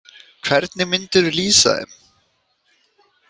Hvernig myndirðu lýsa þeim?